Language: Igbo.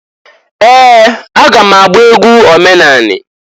Ee! Aga m agba egwu omenanị.